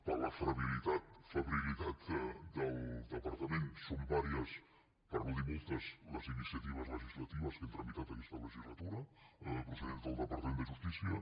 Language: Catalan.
per la febrilitat del departament són diverses per no dir moltes les iniciatives legislatives que hem tramitat aquesta legislatura procedents del departament de justícia